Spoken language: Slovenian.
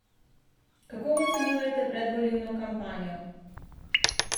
Kako ocenjujete predvolilno kampanjo?